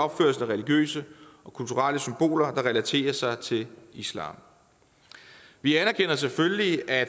religiøse og kulturelle symboler der relaterer sig til islam vi anerkender selvfølgelig at